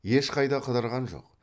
ешқайда қыдырған жоқ